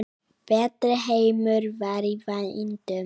Betri heimur var í vændum.